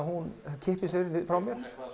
hún kippir sér frá mér